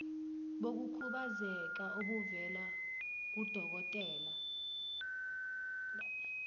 bokukhubazeka obuvela kudokotela